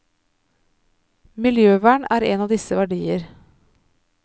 Miljøvern er en av disse verdier.